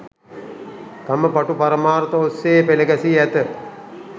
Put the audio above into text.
තම පටු පරමාර්ථ ඔස්සේ පෙළගැසී ඇත.